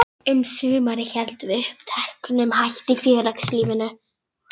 Um sumarið héldum við uppteknum hætti í félagslífinu.